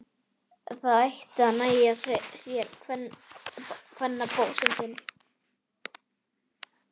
Það ætti að nægja þér, kvennabósinn þinn!